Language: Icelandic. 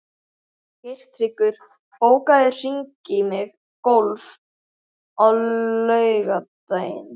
Geirtryggur, bókaðu hring í golf á laugardaginn.